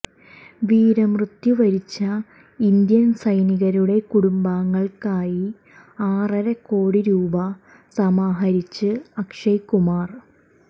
വീരമൃതു വരിച്ച ഇന്ത്യൻ സൈനികരുടെ കുടുംബങ്ങൾക്കായി ആറരക്കോടി രൂപ സമാഹരിച്ച് അക്ഷയ് കുമാർ